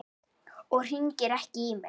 Og hringir ekki í mig.